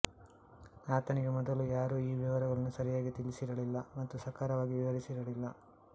ಆತನಿಗೆ ಮೊದಲು ಯಾರೂ ಈ ವಿವರಗಳನ್ನು ಸರಿಯಾಗಿ ತಿಳಿಸಿರಲಿಲ್ಲ ಮತ್ತು ಸಕಾರವಾಗಿ ವಿವರಿಸಿರಲಿಲ್ಲ